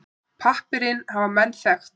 Pappírinn hafa menn þekkt.